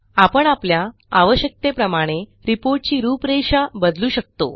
आपण आपल्या आवश्यकतेप्रमाणे रिपोर्ट ची रूपरेषा बदलू शकतो